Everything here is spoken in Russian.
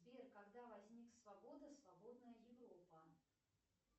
сбер когда возник свобода свободная европа